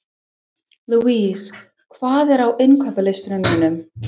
Louise, hvað er á innkaupalistanum mínum?